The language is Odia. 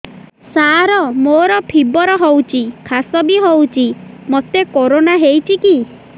ସାର ମୋର ଫିବର ହଉଚି ଖାସ ବି ହଉଚି ମୋତେ କରୋନା ହେଇଚି କି